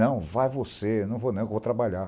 Não, vai você, não vou nem, vou trabalhar.